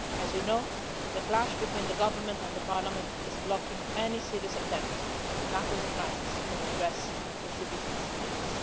As you know, the clash between the government and the parliament is blocking any serious attempt to tackle the crisis and address the citizens' needs